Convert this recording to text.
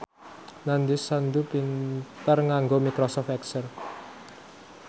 Nandish Sandhu pinter nganggo microsoft excel